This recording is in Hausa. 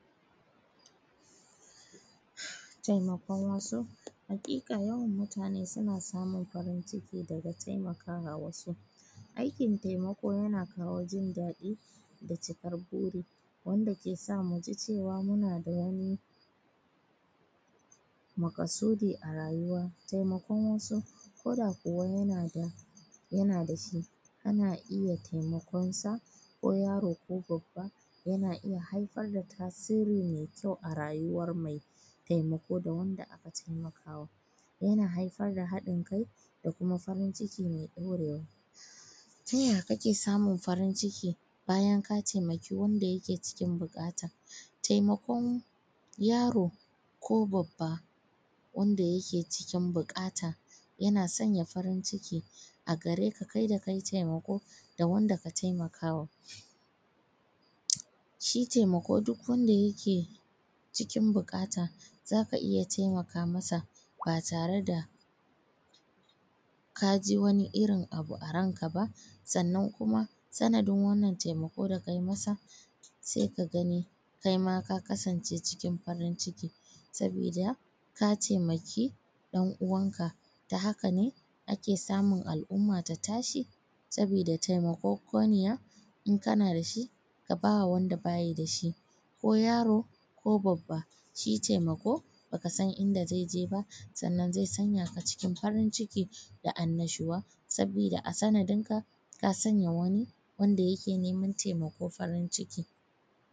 Taimakon wasu haƙiƙa yawan mutane suna samun farin ciki daga taimakawa wasu, aikin taimako yana kawo jin daɗi da cikar buri wanda ke sa muji cewa mun da wani maƙasudi a rayuwa, taimakon wasu ko da kuwa yana da shi kana iya taimakonsa ko yaro ko babba yana iya haifar da tasiri mai kyau a rayuwar mai taimako da wanda aka taimakawa yana haifar da haɗin kai da kuma farin ciki mai ɗaurewa Ta ya kake samun farin ciki bayan ka taimaki wanda yake cikin buƙata, taimakon yaro ko babba wanda yake cikin buƙata yana sanya farin ciki a gareka kai da kayi taimako da wanda ka taimakawa Shi taimako duk wanda yake cikin buƙata zaka iya taimaka masa ba tare da ka ji wani irin abu a ranka ba, sannan kuma sanadin wannan taimako da kayi masa sai ka gani kai ma ka kasance cikin farin ciki sabida ka taimaki ɗan uwanka ta haka ne ake samun al`umma ta tashi sabida taimakokoniya kana da shi ka ba wanda baya da shi ko yaro ko babba shi taimako baka san inda zai je ba sannan zai sanya ka a cikin farin ciki da annashuwa saboda a sanadin ka ka sanya wani wanda yake neman taimako farin ciki